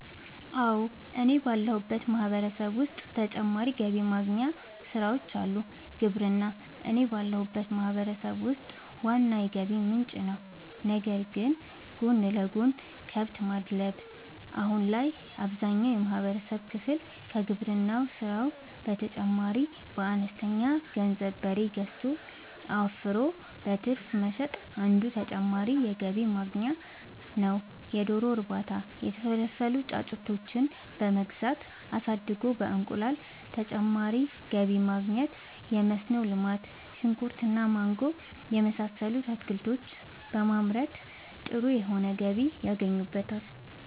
አወ እኔ ባለሁበት ማህበረሰብ ዉስጥ ተጨማሪ ገቢ ማግኛ ስራወች አሉ። ግብርና እኔ ባለሁበት ማህበረሰብ ውስጥ ዋና የገቢ ምንጭ ነዉ ነገር ግን ጎን ለጎን :- ከብት ማድለብ :- አሁን ላይ አብዛኛውን የማህበረሰብ ክፍል ከግብርና ስራው በተጨማሪ በአነስተኛ ገንዘብ በሬ ገዝቶ አወፍሮ በትርፍ መሸጥ አንዱ ተጨማሪ የገቢ ማግኛ ነዉ የዶሮ እርባታ:- የተፈለፈሉ ጫጩቶችን በመግዛት አሳድጎ በእንቁላል ተጨማሪ ገቢ ማግኘት የመስኖ ልማት :-ሽንኩርት እና ማንጎ የመሳሰሉት አትክልቶችን በማምረት ጥሩ የሆነ ገቢ ያገኙበታል